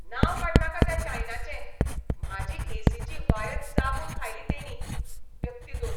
नांव काडनाका त्या चानयांचें, म्हाजी एसीची वायर चाबून खायली तेंणी. व्यक्ती दोन